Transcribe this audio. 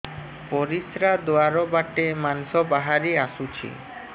ପରିଶ୍ରା ଦ୍ୱାର ବାଟେ ମାଂସ ବାହାରି ଆସୁଛି